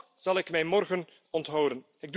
Toch zal ik mij morgen onthouden.